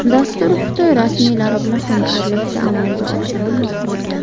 Dastur Xitoy rasmiylari bilan hamkorlikda amalga oshirilmoqda.